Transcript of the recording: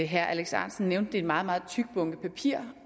herre alex ahrendtsen nævnte er meget meget tyk bunke papirer